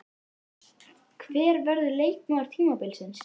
Hver verður leikmaður tímabilsins?